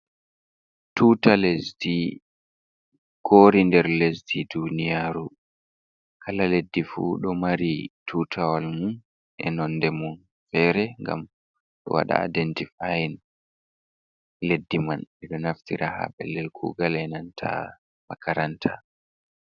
Tuta lesdi kori nder lesdi duniyaru, kala leddi fu ɗo mari tutawal mu e nonde mun fere, ngam ɗo waɗa aidentifayin leddi man ɓeɗo naftira ha pellel kugal e nanta makaranta.